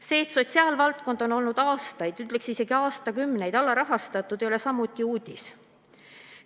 See, et sotsiaalvaldkond on olnud aastaid, isegi aastakümneid alarahastatud, ei ole samuti uudis.